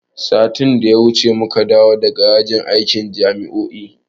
Satin da ya wuce muka dawo daga yajin aikin jami'o'i.